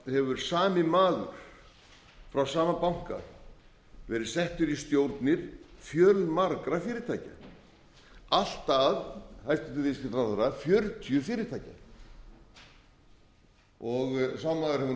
hefur sami maður frá sama banka verið settur í stjórnir fjölmargra fyrirtækja allt að hæstvirtur viðskiptaráðherra fjörutíu fyrirtækja sá maður hefur státað af dugnaði sínum og snilld